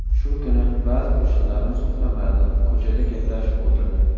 Shu kuni ba’zi qo‘shnilarimiz uxlamadi, ko‘chada gaplashib o‘tirdi.